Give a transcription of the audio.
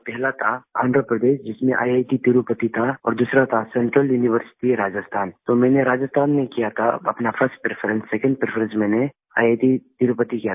पहला था आँध्रप्रदेश जिसमें ईआईटी तिरुपति था और दूसरा था सेंट्रल यूनिवर्सिटी राजस्थान तो मैंने राजस्थान में किया था अपना फर्स्ट प्रेफरेंस सेकंड प्रेफरेंस मैंने ईआईटी तिरुपति किया था